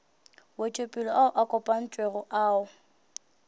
wetšopele ao a kopantšwego ao